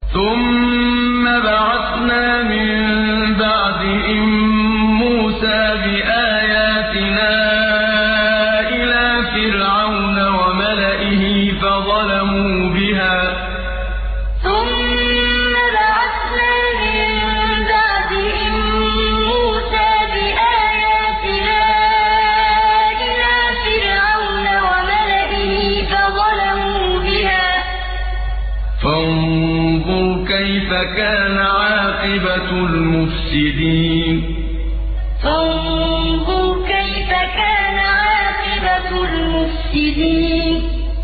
ثُمَّ بَعَثْنَا مِن بَعْدِهِم مُّوسَىٰ بِآيَاتِنَا إِلَىٰ فِرْعَوْنَ وَمَلَئِهِ فَظَلَمُوا بِهَا ۖ فَانظُرْ كَيْفَ كَانَ عَاقِبَةُ الْمُفْسِدِينَ ثُمَّ بَعَثْنَا مِن بَعْدِهِم مُّوسَىٰ بِآيَاتِنَا إِلَىٰ فِرْعَوْنَ وَمَلَئِهِ فَظَلَمُوا بِهَا ۖ فَانظُرْ كَيْفَ كَانَ عَاقِبَةُ الْمُفْسِدِينَ